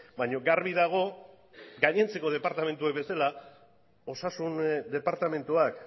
baina garbi dago gainontzeko departamentuek bezala osasun departamentuak